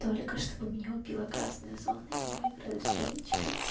только чтобы меня убила красная зона и мы играли с женечкой